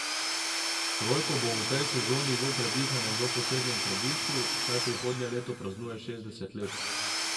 Rojko bo v tej sezoni v Predihanem v posebnem središču, saj prihodnje leto praznuje šestdeset let.